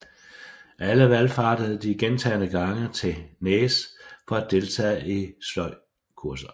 Alle valfartede de gentagne gange til Nääs for at deltage i sløjdkurser